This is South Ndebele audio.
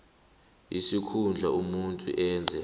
isikhundla umuntu enza